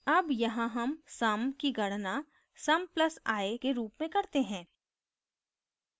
अब यहाँ sum sum की गणना sum + i के रूप में करते हैं